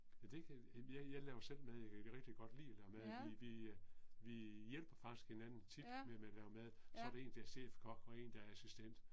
Ja det kan jeg jeg laver selv mad jeg kan rigtig godt lide at lave mad vi vi øh vi hjælper faktisk hinanden tit med med at lave mad, så der en der er chefkok og en der er assistent